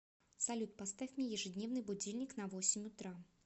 салют поставь мне ежедневный будильник на восемь утра